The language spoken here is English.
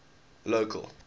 local